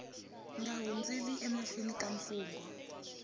nga hundzeli emahlweni ka mfungho